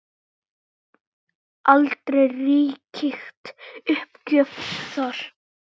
Aldrei ríkti uppgjöf þar.